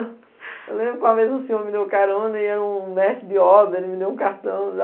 Eu lembro que uma vez um senhor me deu carona, ele era um mestre de obra, ele me deu um cartão.